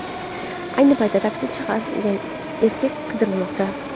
Ayni paytda taksi chaqirgan erkak qidirilmoqda.